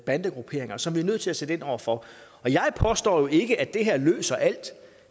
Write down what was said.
bandegrupperinger som vi er nødt til at sætte ind over for jeg påstår jo ikke at det her løser alt